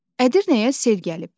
Ədirnəyə sel gəlib.